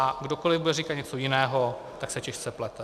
A kdokoli bude říkat něco jiného, tak se těžce plete.